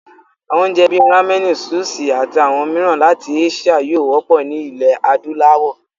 Àwọn oúnjẹ bíi ráménì, súṣì, ati àwọn mìíràn láti áṣíà yóò wọ́pọ̀ ní ilẹ̀ adúláwọ̀.